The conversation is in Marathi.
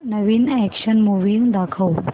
नवीन अॅक्शन मूवी दाखव